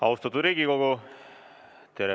Austatud Riigikogu!